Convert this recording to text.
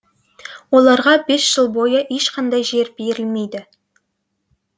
оларға бес жыл бойы ешқандай жер берілмейді